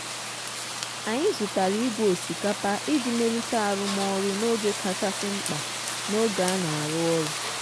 anyị zụtara igwe osikapa iji melite arụmọrụ n'oge kachasi mkpa n'oge a na-arụ ọrụ.